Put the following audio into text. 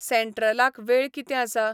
सँट्रलाक वेळ कितें आसा